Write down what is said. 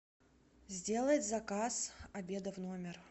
сделать заказ обеда в номер